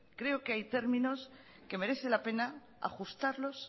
creo que hay términos que merecen la pena ajustarlos